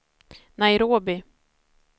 Nairobi